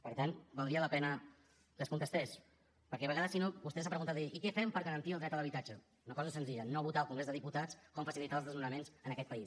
per tant valdria la pena que les contestés perquè a vegades si no vostès han preguntat aquí i què fem per garantir el dret a l’habitatge una cosa senzilla no votar al congrés dels diputats com facilitar els desnonaments en aquest país